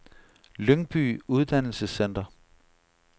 Lyngby Uddannelsescenter